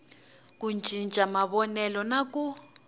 ku cinca mavonelo na ku